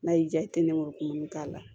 N'a y'i diya i tɛ nk'o k'a la